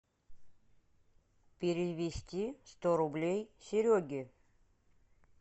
перевести сто рублей сереге